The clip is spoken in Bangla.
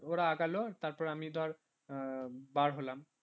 ওরা আগালো তারপর আমি ধর আহ বার হলাম